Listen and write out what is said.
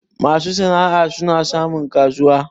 masu sana'a suna samun kasuwa